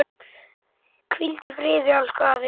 Hvíld í friði, elsku afi.